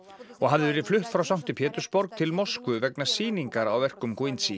og hafði verið flutt frá sankti Pétursborg til Moskvu vegna sýningar á verkum